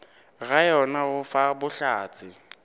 ga yona go fa bohlatse